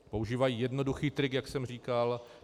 Používají jednoduchý trik, jak jsem říkal.